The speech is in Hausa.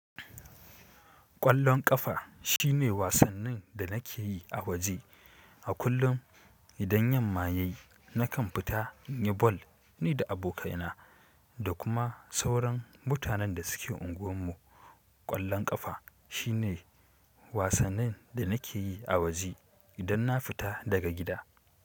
Ƙwallon ƙafa shine wasannin da nake yi a waje. A kullum idan yamma ya yi nakan fita in yi ball ni da abokai na da kuma sauran mutanen da suke anguwan mu ƙwallon ƙafa shine wasannin da nake yi a waje idan na fita daga gida.